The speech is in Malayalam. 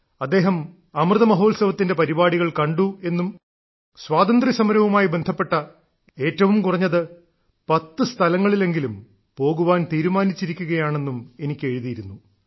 അദ്ദേഹം അമൃതമഹോത്സവത്തിന്റെ പരിപാടികൾ കണ്ടു എന്നും സ്വാതന്ത്ര്യസമരവുമായി ബന്ധപ്പെട്ട ഏറ്റവും കുറഞ്ഞത് 10 സ്ഥലങ്ങളിലെങ്കിലും പോകാൻ തീരുമാനിച്ചിരിക്കുകയാണെന്നും എനിക്ക് എഴുതിയിരുന്നു